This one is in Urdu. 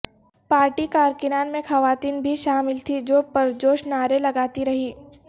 پارٹی کارکنان میں خواتین بھی شامل تھیں جو پرجوش نعرے لگاتی رہیں